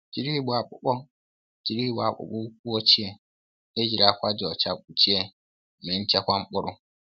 Jiri igbe akpụkpọ Jiri igbe akpụkpọ ụkwụ ochie e jiri akwa dị ọcha kpụchie mee nchekwa mkpụrụ